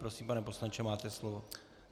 Prosím, pane poslanče, máte slovo.